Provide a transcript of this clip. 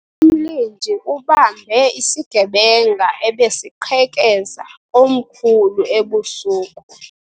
Umlindi ubambe isigebenga ebesiqhekeza komkhulu ebusuku.